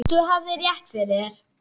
Þú hafðir rétt fyrir þér.